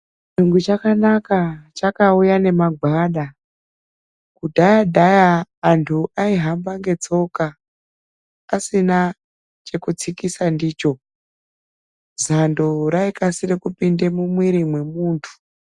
Churungu chakanaka chakauya nemagwada. Kudhaya-dhaya antu aihamba ngetsoka asina chekutsikisa ndicho, zando raikasire kupinda mumwi memuntu.